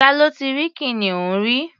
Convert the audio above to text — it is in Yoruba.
Ta ló ti rí kìnìún rí?